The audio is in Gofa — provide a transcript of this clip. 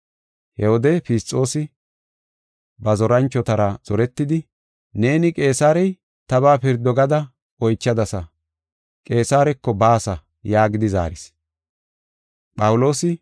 He wode Fisxoosi ba zoranchotara zoretidi, “Neeni Qeesarey tabaa pirdo gada oychadasa; Qeesareko baasa” yaagidi zaaris.